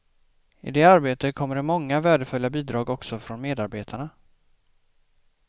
I det arbete kommer det många värdefulla bidrag också från medarbetarna.